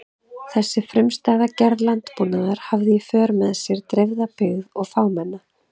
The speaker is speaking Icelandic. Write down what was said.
Þessi frumstæða gerð landbúnaðar hafði í för með sér dreifða byggð og fámenna.